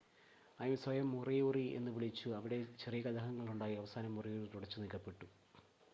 അവർ സ്വയം മോറിയോറി എന്ന് വിളിച്ചു അവിടെ ചെറിയ കലഹങ്ങളുണ്ടായി അവസാനം മോറിയോറി തുടച്ചുനീക്കപ്പെട്ടു